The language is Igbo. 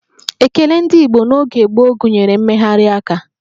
Ekele ndị Igbo n'oge gboo gụnyere mmegharị aka